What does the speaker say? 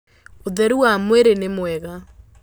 ũtheru wa mwĩrĩnĩmwega.